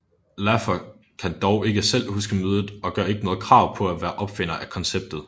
Laffer kan dog ikke selv huske mødet og gør ikke noget krav på at være opfinder af konceptet